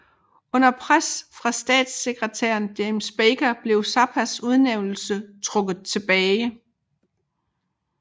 Under pres fra statssekretær James Baker blev Zappas udnævnelse trukket tilbage